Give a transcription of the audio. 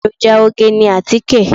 Èròjà oge ni àtíkè.